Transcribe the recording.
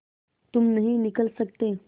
तुम नहीं निकल सकते